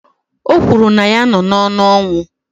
O kwuru na ya nọ n'ọnụ ọnwụ